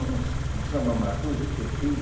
um um sam um samba matuto que eu fiz,